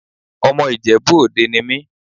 Ọmọ Ìjẹ̀bú ni mí.